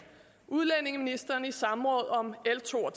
udlændingeministeren i samråd om l to og